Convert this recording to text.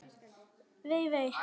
Vei, vei.